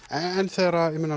en þegar